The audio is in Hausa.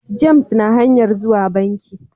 James na hanyan zuwa banki.